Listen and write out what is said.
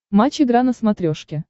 матч игра на смотрешке